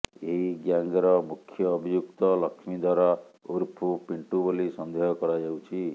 ଏହି ଗ୍ୟାଙ୍ଗ୍ର ମୁଖ୍ୟ ଅଭିଯୁକ୍ତ ଲକ୍ଷ୍ମିଧର ଉର୍ଫ ପିଣ୍ଟୁ ବୋଲି ସନ୍ଦେହ କରାଯାଉଛି